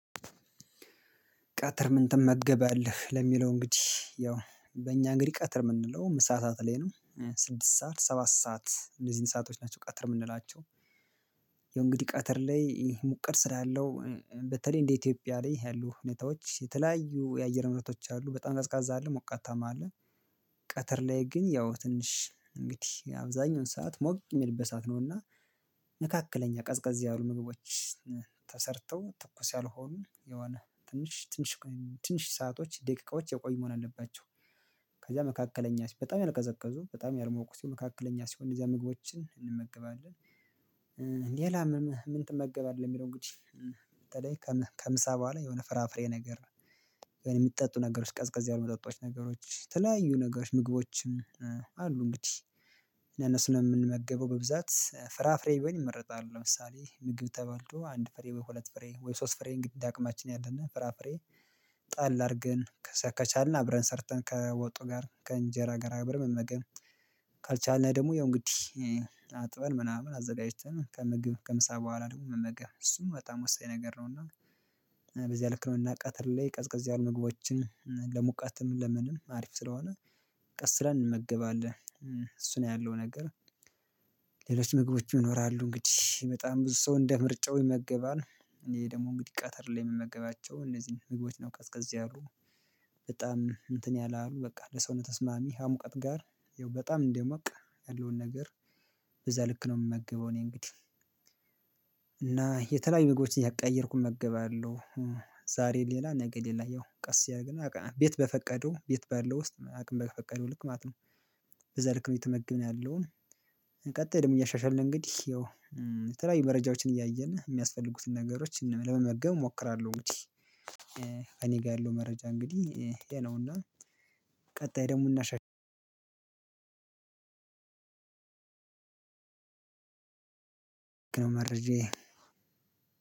ቀትር ምን ትመገባለህ ለሚለው እንግዲህ ያው በእኛ እንግዲህ ቀትር የምንለው ምሳሳት ላይ ነው ስድስት ሰዓት ሰባት ሰዓት እንደዚህ ሰአቶች ናቸው ቀትር የምንላቸው። እንግዲህ ቀትር ላይ ሙቀት ስላለው በተለይ እንደ ኢትዮጵያ ላይ ያሉ ሁኔታዎች የተለያዩ የአየር ሁነቶች አሉ በጣም ቀዝቃዛ አለ ሞቃታማ አለ። ቀትር ላይ ግን ያው ትንሽ እንግዲህ አብዛኛውን ሰዓት ሞቅ የሚልበት ሰዓት ነውና። መካከለኛ ቀዝቀዝ ያሉ ምግቦች ተሰርተው ትኩስ ያልሆኑ የሆነ ትንሽ ትንሽ ትንሽ ሰአቶች ደቂቃዎች የቆየ መሆን አለባቸው። ከዛ መካከለኛ በጣም ያልቀዘቀዙ በጣም ያልሞቁት መካከለኛ ሲሆን እዚያ ምግቦችን እንመገባለን። ሌላምን ምን ትመገባለህ የሚለውን እንግዲህ? በተለይ ከምሳ በኋላ የሆነ ፍራፍሬ ነገር። ነው የሚጠጡ ነገሮች ቀዝቀዝ ያሉ የሚጠጡ ነገሮች ተለያዩ ነገሮች ምግቦችም አሉ እንግዲህ። ለነሱ ነው የምንመገበው በብዛት ፍራፍሬ ቢሆን ይመረጣሉ። ለምሳሌ ምግብ ተበልቶ አንድ ፍሬ ወይ ሁለት ፍሬ ወይ ሶስት ፍሬ እንዲዳቅማችን ያለና ፍራፍሬ ጣል አድርገን ከቻልን አብረን ሰርተን ከወጡ ጋር ከእንጀራ ጋር አብረን መመገብ። ካልቻልነው ደግሞ ያው እንግዲህ አጥበን ምናምን አዘጋጅተን ከምግብ ከምሳ በኋላ ደግሞ መመገብ እሱን በጣም ወሳኝ ነገር ነው። እና በዚህ ልክ ነው እና ቀተር ላይ ቀዝቀዝ ያሉ ምግቦችን ለሙቀት ለምንም አሪፍ ስለሆነ። ቀስለን እንመገባለን እሱ ነው ያለው ነገር። ሌሎች ምግቦች ይኖራሉ እንግዲህ በጣም ብዙ ሰው እንደ ምርጫው ይመገባል። እኔ ደግሞ እንግዲህ ቀተር ላይ የምመገባቸው እነዚህን ምግቦች ነው ቀዝቀዝ ያሉ። በጣም እንትን ያላሉ በቃ ለሰውነት ተስማሚ ሀሙቀት ጋር ይኸው በጣም እንደሞቀ ያለውን ነገር በዛ ልክ ነው የምመግበው። እኔ እንግዲህ እና የተለያዩ ምግቦችን እያቀያየርኩ እመገባለሁ። ዛሬ ሌላ ነገ ሌላ ያው ቀስ ያደረገና ቤት በፈቀደው ቤት በለው ውስጥ አቅም በፈቀደው ልክ ማለት ነው። በዛ ልክ ነው እየተመግብን ያለውን። ቀጥል ደግሞ እያሻሻልን እንግዲህ ያው ተላይ መረጃዎችን እያየን የሚያስፈልጉትን ነገሮች ለመመገብ እሞክራለሁ እንግዲህ። ከእኔ ጋር ያለው መረጃ እንግዲህ ይሄ ነውና ቀጣይ ደግሞ እናሻሽለው። መረጃ